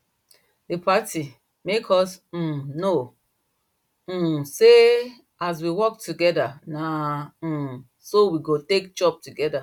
the party make us um know um say as we work together na um so we go take chop together